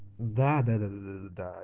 да-да-да